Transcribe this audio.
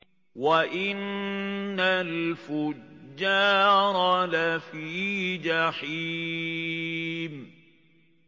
وَإِنَّ الْفُجَّارَ لَفِي جَحِيمٍ